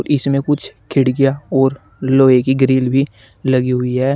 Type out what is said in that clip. इसमें कुछ खिड़कियां और लोहे की ग्रिल भी लगी हुई है।